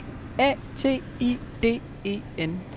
D A T I D E N